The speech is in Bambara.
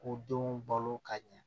K'u denw balo ka ɲɛ